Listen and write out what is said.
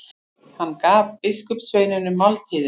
Hann gaf biskupssveinunum máltíðina.